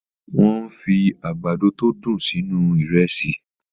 Wọ́n fi àgbàdo tó dùn sínú Ìrẹ́sì